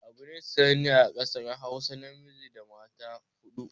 Abune sananne a ƙasar hausa namiji da mata huɗu